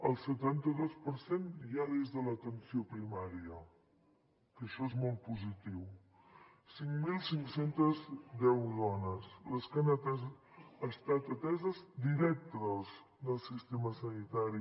el setanta dos per cent ja des de l’atenció primària que això és molt positiu cinc mil cinc cents i deu dones les que han estat ateses directes del sistema sanitari